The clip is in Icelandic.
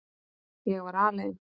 Ég var alein.